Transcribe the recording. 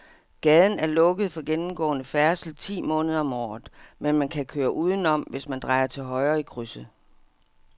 Gaden er lukket for gennemgående færdsel ti måneder om året, men man kan køre udenom, hvis man drejer til højre i krydset.